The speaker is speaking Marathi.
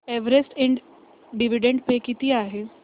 एव्हरेस्ट इंड डिविडंड पे किती आहे